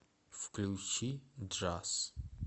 включи джаз